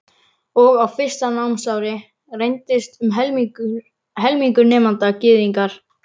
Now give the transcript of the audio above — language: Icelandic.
Og á fyrsta námsári reyndist um helmingur nemenda Gyðingar.